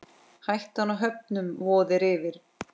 Hættan á höfnun vofir yfir.